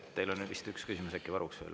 Teil on vist üks küsimus veel varuks.